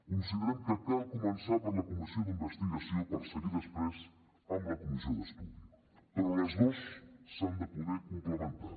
considerem que cal començar per la comissió d’investigació per seguir després amb la comissió d’estudi però les dos s’han de poder complementar